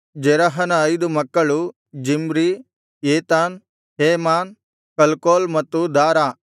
ಜೆರಹನ ಐದು ಮಕ್ಕಳು Zimri Ethan Heman Calcol ಮತ್ತು ದಾರಾ